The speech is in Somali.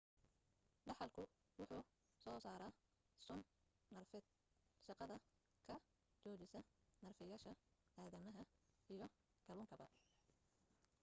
daxalku wuxu soo saaraa sun neerfeed shaqada ka joojisa neerfayaasha aadamaha iyo kalluunkaba